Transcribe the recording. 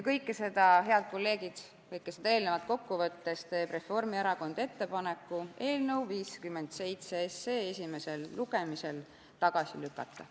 Kõike seda, head kolleegid, kõike seda eelnevat kokku võttes, teeb Reformierakond ettepaneku eelnõu 57 esimesel lugemisel tagasi lükata.